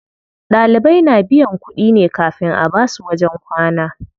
Ɗalibai na biyan kuɗi ne kafin a basu wajen kwana.